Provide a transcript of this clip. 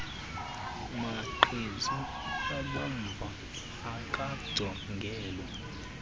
maqhezu abomvu akajongelwa